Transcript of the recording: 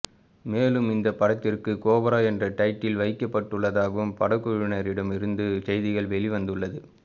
மேலும் இந்த படத்திற்கு கோப்ரா என்ற டைட்டில் வைக்கப்பட்டுள்ளதாகவும் படக்குழுவினர்களிடம் இருந்து செய்திகள் வெளிவந்துள்ளது